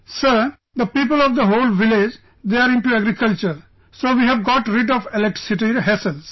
Sir, the people of the whole village, they are into agriculture, so we have got rid of electricity hassles